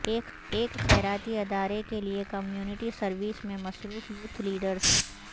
ایک خیراتی ادارے کے لیئے کمیونٹی سروس میں مصروف یوتھ لیڈرز